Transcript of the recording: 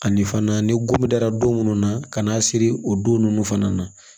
Ani fana ni gun dara don munnu na ka n'a siri o don nunnu fana na